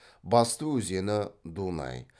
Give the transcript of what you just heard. басты өзені дунай